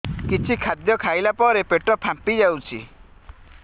କିଛି ଖାଦ୍ୟ ଖାଇଲା ପରେ ପେଟ ଫାମ୍ପି ଯାଉଛି